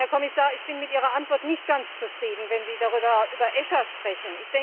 Herr Kommissar, ich bin mit Ihrer Antwort nicht ganz zufrieden, wenn Sie über ECHA sprechen.